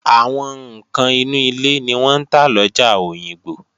Àwọn ǹkan inú ilé ni wọ́n ń tà lọjà Òyìngbò